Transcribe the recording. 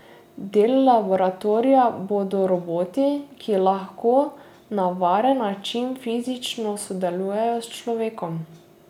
Del laboratorija bodo roboti, ki lahko na varen način fizično sodelujejo s človekom.